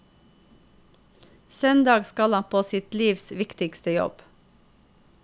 Søndag skal han på sitt livs viktigste jobb.